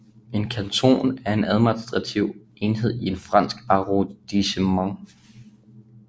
En canton er en administrativ enhed i et fransk arrondissement